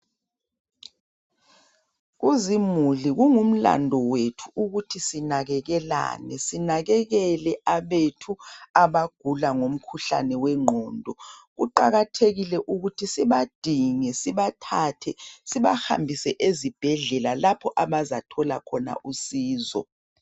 Kuzimuli kungumlandu wethu ukuthi sinakekelane. Sinakekele abethu abagula ngumkhuhlane wengqondo. Kuqakathekile ukuthi sibadinge sibathathe sibahambise ezibhedlela lapho abazathola khona usizo.